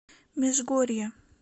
межгорья